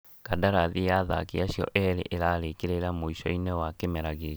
Kandarathi ya athaki acio erĩ ĩrarĩkĩrĩra mũico-inĩ wa kĩmera gĩkĩ